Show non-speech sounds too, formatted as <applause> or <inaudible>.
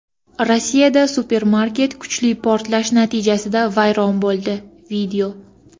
Rossiyada supermarket kuchli portlash natijasida vayron bo‘ldi. <video>